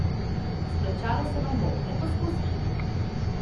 Izplačalo se vam bo, le poskusite!